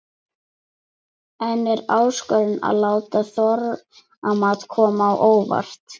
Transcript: En er áskorun að láta þorramat koma á óvart?